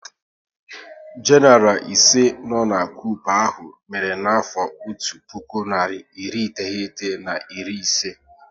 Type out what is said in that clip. Genaral ise no n' koup ahụ mere n'afọ otu puku narị iri iteghete na iri isii